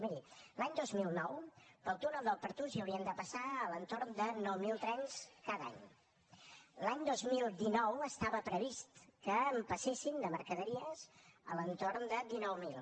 miri l’any dos mil nou pel túnel del pertús hi havien de passar a l’entorn de nou mil trens cada any l’any dos mil dinou estava previst que en passessin de mercaderies a l’entorn de dinou mil